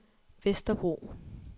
Vesterbro